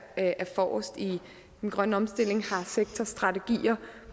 er forrest i den grønne omstilling og har sektorstrategier